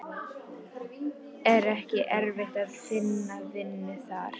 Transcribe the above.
Er ekki erfitt að finna vinnu þar?